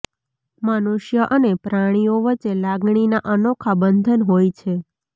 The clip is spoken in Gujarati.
મનુષ્ય અને પ્રાણીઓ વચ્ચે લાગણીના અનોખા બંધન હોય છે